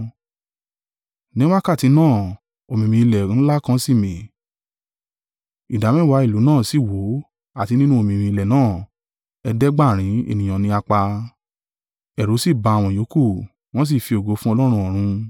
Ní wákàtí náà omìmì-ilẹ̀ ńlá kan sì mì, ìdámẹ́wàá ìlú náà sì wó, àti nínú omìmì-ilẹ̀ náà ẹ̀ẹ́dẹ́gbàárin (7,000) ènìyàn ní a pa; ẹ̀rù sì ba àwọn ìyókù, wọn sì fi ògo fún Ọlọ́run ọ̀run.